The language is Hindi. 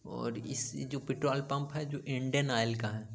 और इस जो पेट्रोल पम्प है जो इंडियन ओइल का है।